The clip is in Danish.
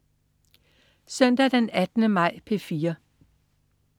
Søndag den 18. maj - P4: